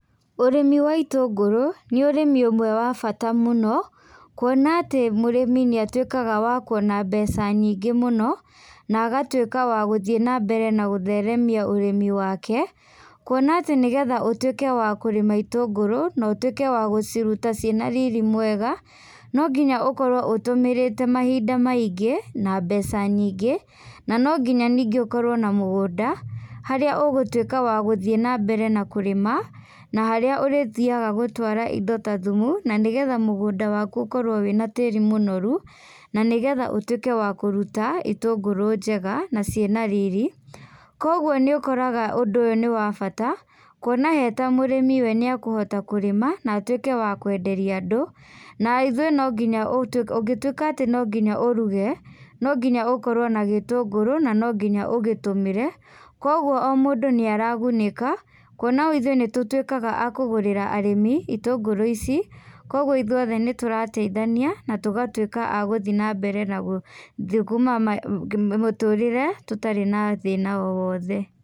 Ũrĩmi wa itũngũrũ, nĩ ũrĩmi ũmwe wa bata mũno kuona atĩ mũrĩmi nĩ atuĩkaga wa kuona mbeca nyingĩ mũno na agatuĩka wa gũthiĩ na mbere na gũtheremia ũrĩmi wake. Kuona atĩ nĩgetha ũtuĩke wa kũrĩma itũngũrũ, na ũtuĩke wa gũciruta ciĩna riri mwega, no nginya ũkorwo ũtũmĩrĩte mahinda maingĩ na mbeca nyingĩ. Na no nginya ningĩ ũkorwo na mũgũnda, harĩa ũgũtuĩka wa gũthiĩ na mbere na kũrĩma, na harĩa ũrĩthiaga gũtwara indo ta thumu na nĩgetha mugũnda waku ũkorwo wĩna tĩri mũnoru, na nĩgetha ũtuĩke wa kũruta itũngũrũ njega na ciĩna riri. Koguo nĩ ũkoraga ũndũ ũyũ nĩ wa bata kũona he ta mũrĩmi, we nĩ akũhota kũrĩma na atuĩke wa kwenderie andũ na ithuĩ na nginya ũtuĩke, ũngĩtuĩka atĩ no nginya ũruge, no nginya ũkorwo na gĩtũngũrũ na no nginya ũgĩtũmĩre. Koguo o mũndũ nĩ aragunĩka kuona ithuĩ nĩ tũtwĩkaga a kũgũrĩra arĩmi itũngũrũ ici. Koguo ithuĩ othe nĩ tũrateithania na tũgatuĩka agũthi na mbere na gũthũkũma mũtũrĩre tũtarĩ na thĩna o wote.